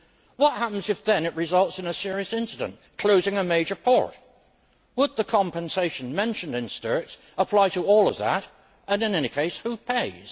What happens if it then results in a serious incident, closing a major port? Would the compensation mentioned in Mr Sterckx apply to all of that and, in any case, who pays?